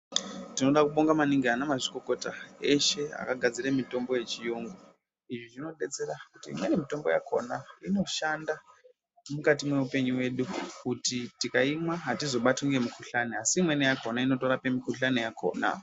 Tinoda kubonga maningi anamazvikokota eshe akagadzire mitombo yechiyungu. Izvi zvinobetsera kuti imweni mitombo yakona inoshanda mukati mwehupenyu wedu kuti tikaimwa hatizobatwi ngemikuhlani, asi imweni yakona inotorape mikuhlani yakona.